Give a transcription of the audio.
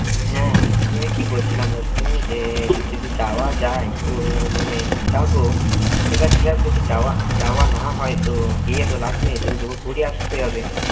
হ্যাঁ আমি আমি কি বলছিলাম বলতো যে যদি যাওয়া যায় তো মানে যাব সেবার যদি যাওয়া না হয় তো গিয়ে তো লাভ নেই তো ঘুরে আসতে হবে